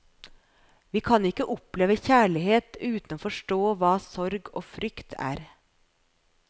Vi kan ikke oppleve kjærlighet uten å forstå hva sorg og frykt er.